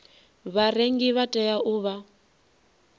vharengi vha tea u vha